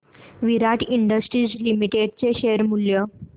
विराट industries limited चे शेअर मूल्य